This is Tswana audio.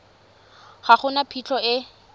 ga go na phitlho e